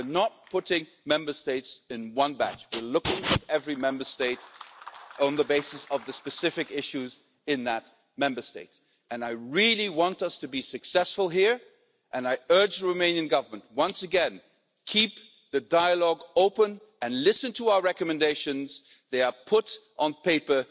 We are not putting Member States all in one batch, we are looking at every Member State on the basis of the specific issues in that Member State, and I really want us to be successful here. I urge the Romanian Government, once again keep the dialogue open and listen to our recommendations they have been put down on paper